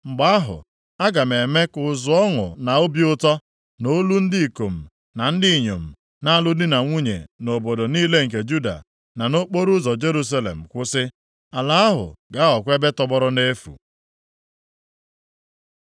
Mgbe ahụ, aga m eme ka ụzụ ọṅụ na obi ụtọ, na olu ndị ikom na ndị inyom na-alụ di na nwunye nʼobodo niile nke Juda, na nʼokporoụzọ Jerusalem kwụsị. Ala ahụ ga-aghọkwa ebe tọgbọrọ nʼefu.